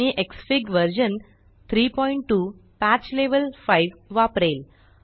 मी Xfig version 32 patch level 5 वापरेल